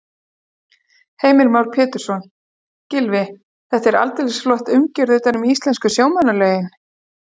Heimir Már Pétursson: Gylfi, þetta er aldeilis flott umgjörð utan um íslensku sjómannalögin?